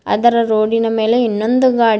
ಅದರ ರೋಡಿ ನ ಮೇಲೆ ಇನ್ನೊಂದು ಗಾಡಿ ಗಾ--